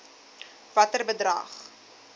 watter bedrag